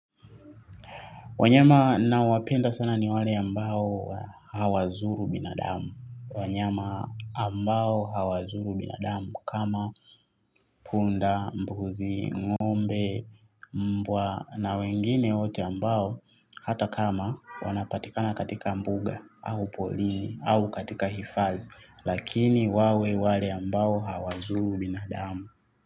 Wanyama na wapenda sana ni wale ambao hawazuru binadamu. Wanyama ambao hawazuru binadamu kama punda, mbuzi, ngombe, mbwa na wengine wote ambao hata kama wanapatikana katika mbuga au polini au katika hifadhi. Lakini wawe wale ambao hawazuru binadamu.